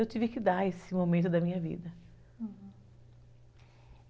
Eu tive que dar esse momento da minha vida, ah